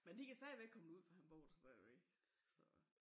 Men de kan stadigvæk komme derud for han bor der stadigvæk så